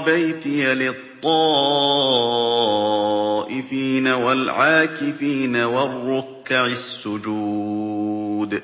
بَيْتِيَ لِلطَّائِفِينَ وَالْعَاكِفِينَ وَالرُّكَّعِ السُّجُودِ